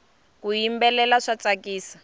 ku yimbelela swa tsakisa